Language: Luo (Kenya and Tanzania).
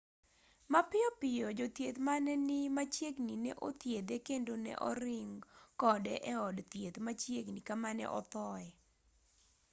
mapiyo piyo jothieth mane ni machiegni ne othiedhe kendo ne oring kode e od thieth machiegni kama ne othoe